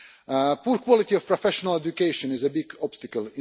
The poor quality of professional education is a big obstacle.